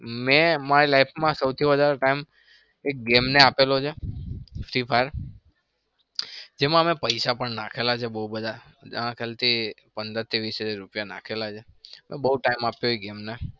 મેં મારી life માં સૌથી વધાર time એક game ને આપેલો છે. free fire જેમાં અમે પૈસા પણ નાંખેલા છે. બઉ બધા મારા ખ્યાલથી પંદરથી વીસ હજાર રૂપિયા નાંખેલા છે.